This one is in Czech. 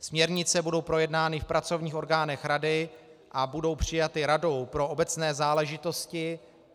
Směrnice budou projednány v pracovních orgánech Rady a budou přijaty Radou pro obecné záležitosti.